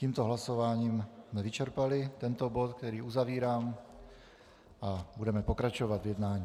Tímto hlasováním jsme vyčerpali tento bod, který uzavírám, a budeme pokračovat v jednání.